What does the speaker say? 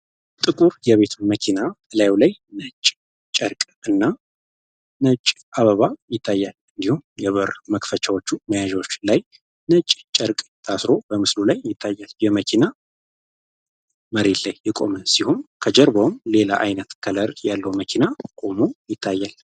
ነጭ ጨርቅ እና አበባ ይታያል መክፈቻዎቹ ሚያጨ ጨርቅ ታስሮ በምስሉ ላይ ይታያል የመኪና ሲሆን ከጀርባው ሌላ አይነት ከለር ያለው መኪና ሆኖ ይታያል።